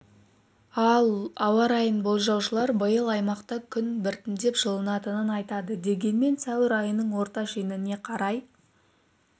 ал ауа райын болжаушылар биыл аймақта күн біртіндеп жылынатынын айтады дегенмен сәуір айының орта шеніне қарай